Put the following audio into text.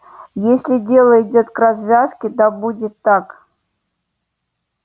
если дело идёт к развязке да будет так